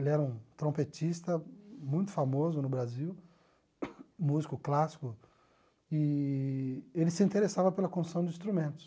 Ele era um trompetista muito famoso no Brasil, músico clássico, eee ele se interessava pela construção de instrumentos.